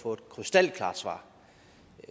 få et krystalklart svar